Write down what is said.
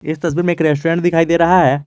इस तस्वीर में एक रेस्टोरेंट दिखाई दे रहा है।